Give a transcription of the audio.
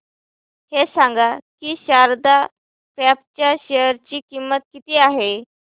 हे सांगा की शारदा क्रॉप च्या शेअर ची किंमत किती आहे